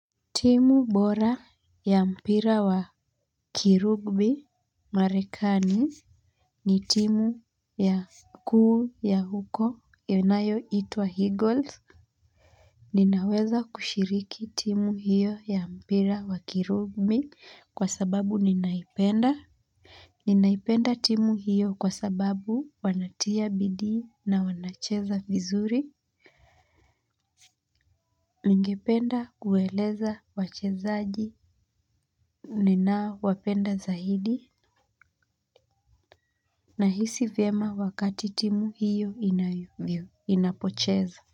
Timu bora ya mpira wa kirugbi Marekani. Ni timu ya kuu ya huko yanayo itwa eagles. Ninaweza kushiriki timu hiyo ya mpira wa kirugbi kwa sababu ninaipenda ninaipenda timu hiyo kwa sababu wanatia bidii na wanacheza vizuri. Ningependa kueleza wachezaji nina wapenda zaidi na hisi vyema wakati timu hiyo inapocheza.